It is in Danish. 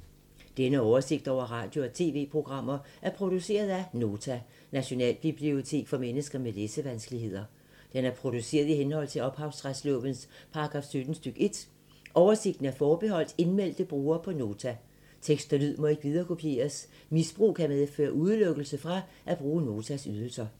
Denne oversigt over radio og TV-programmer er produceret af Nota, Nationalbibliotek for mennesker med læsevanskeligheder. Den er produceret i henhold til ophavsretslovens paragraf 17 stk. 1. Oversigten er forbeholdt indmeldte brugere på Nota. Tekst og lyd må ikke viderekopieres. Misbrug kan medføre udelukkelse fra at bruge Notas ydelser.